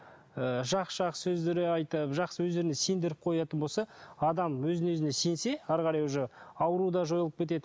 ы жақсы жақсы сөздер айтып жақсы өздеріне сендіріп қоятын болса адам өзіне өзіне сенсе әрі қарай уже ауру да жойылып кетеді